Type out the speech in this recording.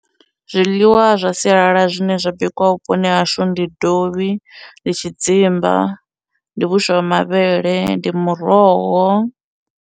Zwiḽiwa zwa sialala zwine zwa bikwa vhuponi hahashu ndi dovhi, ndi tshidzimba, ndi vhuswa ha mavhele, ndi muroho.